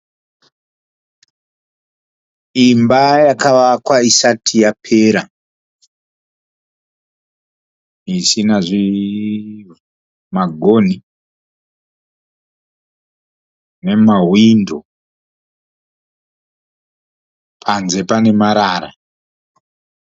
Imba yakavakwa isati yapera, isina zvinhu, magonhi nemahwindo panze pane marara.